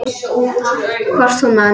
Hvort hún man!